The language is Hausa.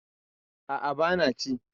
Aa, bana ci